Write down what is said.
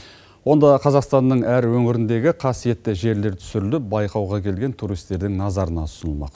онда қазақстанның әр өңіріндегі қасиетті жерлер түсіріліп байқауға келген туристердің назарына ұсынылмақ